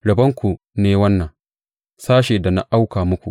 Rabonku ne wannan, sashen da na auka muku,